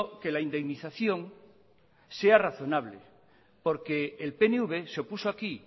que la indemnización sea razonable porque el pnv se opuso aquí